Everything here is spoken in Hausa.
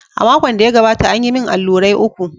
A makon da ya gabata, an yi min allurai uku.